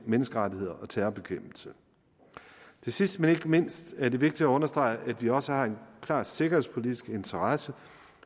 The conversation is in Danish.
menneskerettigheder og terrorbekæmpelse sidst men ikke mindst er det vigtigt at understrege at vi også har en klar sikkerhedspolitisk interesse